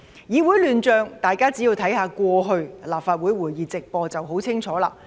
議會亂象，大家只要看看過去立法會會議直播便會十分清楚。